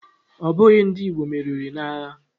Ọ bụghị ndị Igbo meriri n'agha